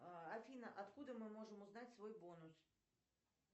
афина откуда мы можем узнать свой бонус